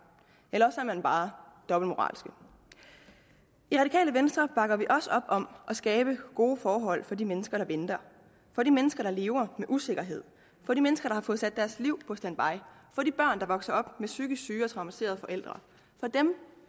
eller er man bare dobbeltmoralsk i radikale venstre bakker vi også op om at skabe gode forhold for de mennesker der venter for de mennesker der lever med usikkerhed for de mennesker der har fået sat deres liv på standby for de børn der vokser op med psykisk syge og traumatiserede forældre for dem